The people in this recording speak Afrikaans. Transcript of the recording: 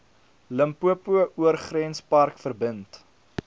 limpopo oorgrenspark verbind